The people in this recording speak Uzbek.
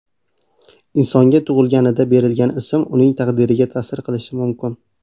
Insonga tug‘ilganida berilgan ism uning taqdiriga ta’sir qilishi mumkin.